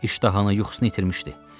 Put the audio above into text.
İştahını, yuxusunu itirmişdi.